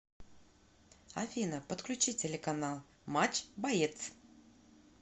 афина подключи телеканал матч боец